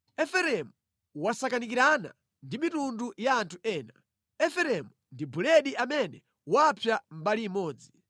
“Efereimu wasakanikirana ndi mitundu ya anthu ena; Efereimu ndi buledi amene wapsa mbali imodzi.